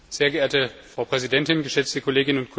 Frau Präsidentin, geschätzte Kolleginnen und Kollegen!